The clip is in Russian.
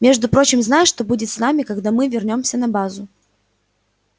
между прочим знаешь что будет с нами когда мы вернёмся на базу